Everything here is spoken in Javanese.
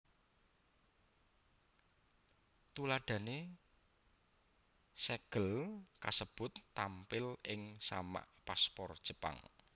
Tuladhané sègel kasebut tampil ing samak paspor Jepang